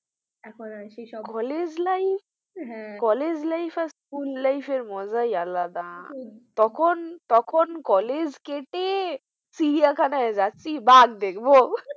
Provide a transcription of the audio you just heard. সেসব college life আর school life এর মজাই আলাদা তখন college কেটে চিড়িয়াখানা যাচ্ছি বাঘ দেখবো।